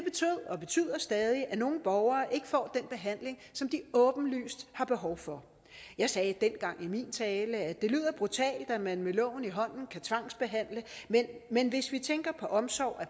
og betyder stadig at nogle borgere ikke får den behandling som de åbenlyst har behov for jeg sagde dengang i min tale at det lyder brutalt at man med loven i hånden kan tvangsbehandle men hvis vi tænker på omsorg